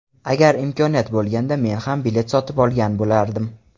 Agar imkoniyat bo‘lganda men ham bilet sotib olgan bo‘lardim.